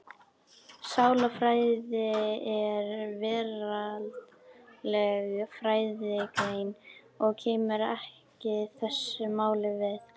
Sálarfræði er veraldleg fræðigrein og kemur ekki þessu máli við.